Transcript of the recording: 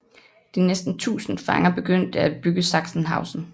De næsten tusind fanger begyndte at bygge Sachsenhausen